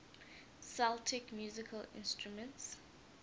celtic musical instruments